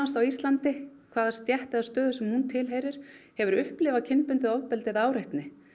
á Íslandi hvaða stétt eða stöðu sem hún tilheyrir hefur upplifað kynbundið ofbeldi eða áreitni